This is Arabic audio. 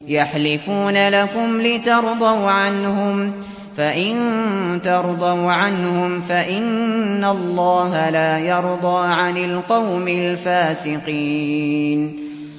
يَحْلِفُونَ لَكُمْ لِتَرْضَوْا عَنْهُمْ ۖ فَإِن تَرْضَوْا عَنْهُمْ فَإِنَّ اللَّهَ لَا يَرْضَىٰ عَنِ الْقَوْمِ الْفَاسِقِينَ